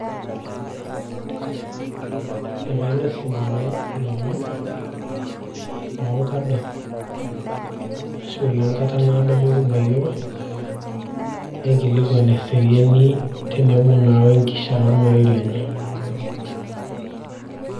ekainosie ninye ilomon loonkadorr arashu ile nkata naado mikibayioro naikilikuan eseriani tenebo naa wenkishia ormarei lenye.